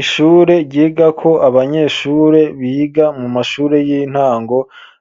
Ishure ryigako abanyeshure biga mu mashure y'intango